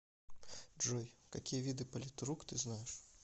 джой какие виды политрук ты знаешь